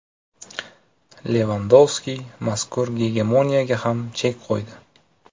Levandovski mazkur gegemoniyaga ham chek qo‘ydi.